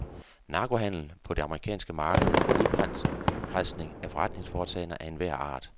Narkohandel på det amerikanske marked og udpresning af forretningsforetagender af enhver art.